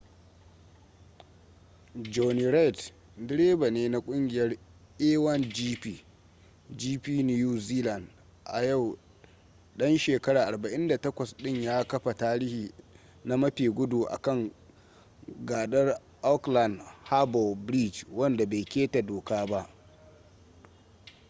jonny reid direba ne na kungiyar a1gp new zealand a yau dan shekara 48 din ya kafa tarihi na mafi gudu a kan gadar aukland harbor bridge wanda bai keta doka ba